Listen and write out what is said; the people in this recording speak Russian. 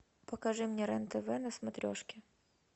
покажи мне рен тв на смотрешке